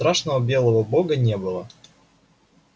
страшного белого бога не было